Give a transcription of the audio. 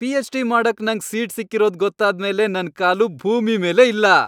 PhD. ಮಾಡಕ್ ನಂಗ್ seat ಸಿಕ್ಕಿರೋದ್ ಗೊತ್ತಾದ್ಮೇಲೆ ನನ್ ಕಾಲು ಭೂಮಿ ಮೇಲೇ ಇಲ್ಲ.